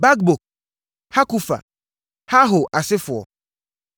Bakbuk, Hakufa, Harhur asefoɔ, 1